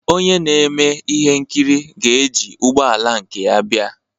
Onye na-eme ihe nkiri ga-eji ụgbọ ala nke ya bịa